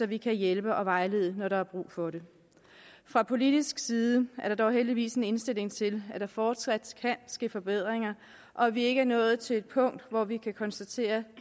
vi kan hjælpe og vejlede når der er brug for det fra politisk side er der dog heldigvis en indstilling til at der fortsat kan ske forbedringer og at vi ikke er nået til et punkt hvor vi kan konstatere